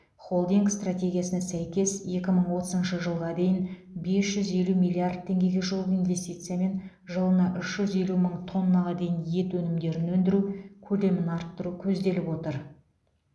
холдинг стратегиясына сәйкес екі мың отызыншы жылға дейін бес жүз елу миллиард теңгеге жуық инвестициямен жылына үш жүз елу мың тоннаға дейін ет өнімдерін өндіру көлемін арттыру көзделіп отыр